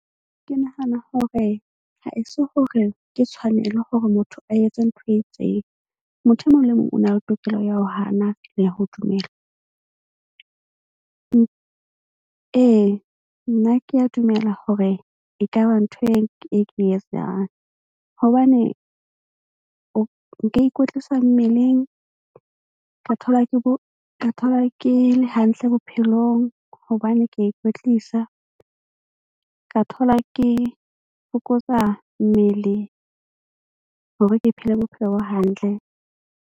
Ke nahana hore haeso hore ke tshwanelo hore motho a etse ntho e itseng, motho e mong le mong o na le tokelo ya ho hana le ya ho dumela. Ee, nna ke a dumela hore ekaba ntho e ke etsang hobane o nka ikwetlisa mmeleng ka thola ke bo ka thola ke le hantle bophelong. Hobane ke a ikwetlisa ka thola ke fokotsa mmele hore ke phele bophelo bo hantle.